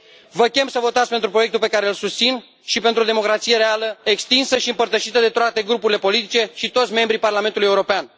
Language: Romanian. Vă chem să votați pentru proiectul pe care susțin și pentru o democrație reală, extinsă și împărtășită de toate grupurile politice și de toți membrii Parlamentului European.